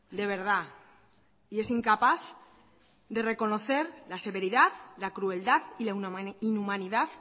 de verdad y es incapaz de reconocer la severidad la crueldad y la inhumanidad